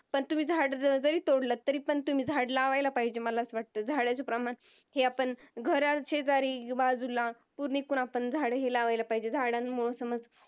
पण तुम्ही झाड जरी तोंडलत तरी पण तुम्ही झाड लावला पाहिजेत मला असं वाटत झाडाचं प्रमाण हे आपण घराशेजारी बाजूला कुंडीत पण आपण झाड लावला पाहिजेत झाडांमुळे आपण समज